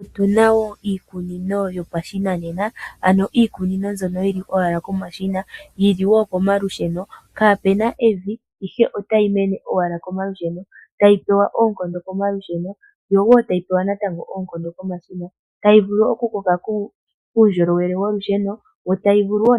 Otuna wo iikunino yopashinanena ano iikunino mbyono yili owala komashina yili wo komalusheno ,kaapena evi ihe otayi mene owala komalusheno tayipewa ookondo komalusheno, yo wo tayi pewa natango oonkondo komashina tayi vulu okukoka kuundjolowele wolusheno, yo tayi vulu wo